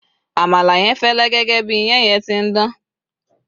àmàlà yen fẹlẹ gẹgẹ bi iyan yen ti n Dan